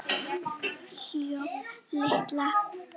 hló Lilla.